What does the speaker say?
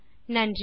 நன்றி